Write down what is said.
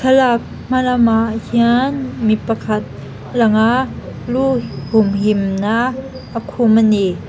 thlalak hmalamah hian mi pakhat a lang a lu humhimna a khum a ni.